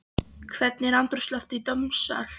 Hvernig var andrúmsloftið í dómssal?